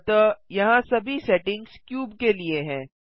अतः यहाँ सभी सेटिंग्स क्यूब के लिए हैं